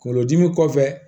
Kungolo dimi kɔfɛ